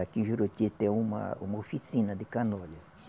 Aqui em Juruti tem uma uma oficina de canoas.